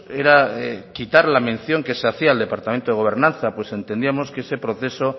era quitar la mención que se hacía al departamento de gobernanza pues entendíamos que ese proceso